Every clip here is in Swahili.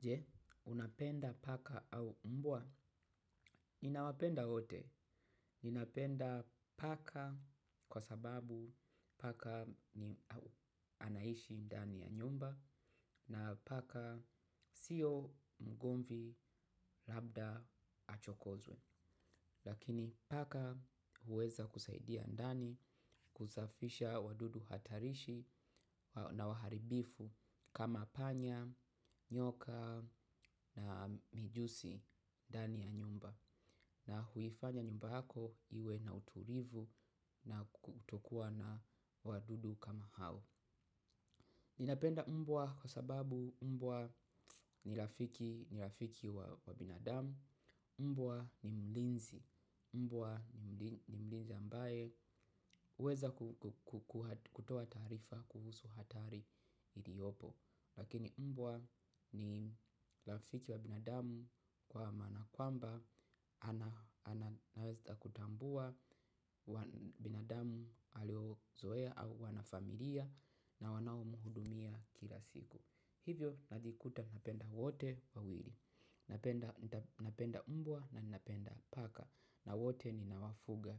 Je, unapenda paka au mbwa. Ninawapenda wote. Ninapenda paka kwa sababu paka anaishi ndani ya nyumba na paka siyo mgomvi labda achokozwe. Lakini paka huweza kusaidia ndani kusafisha wadudu hatarishi na waharibifu kama panya, nyoka na mijusi ndani ya nyumba na huifanya nyumba yako iwe na utulivu na kutokuwa na wadudu kama hao. Ninapenda mbwa kwa sababu mbwa ni rafiki wa binadamu, mbwa ni mlinzi, mbwa ni mlinzi ambaye huweza kutoa taarifa kuhusu hatari iliopo. Lakini mbwa ni rafiki wa binadamu kwa maana kwamba anaeza kutambua binadamu aliyezoea au wanafamilia na wanaomuhudumia kila siku. Hivyo najikuta kupenda wote wawili. Napenda mbwa na napenda paka. Na wote ninawafuga.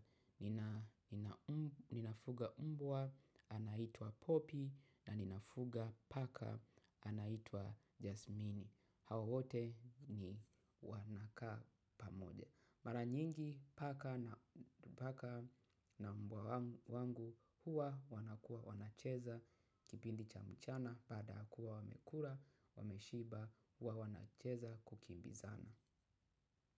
Ninafuga mbwa anaitwa popi na ninafuga paka anaitwa jasmini. Hawa wote ni wanakaa pamoja. Mara nyingi paka na mbwa wangu huwa wanakuwa wanacheza kipindi cha mchana baada ya kuwa wamekula wameshiba huwa wanacheza kukimbizana.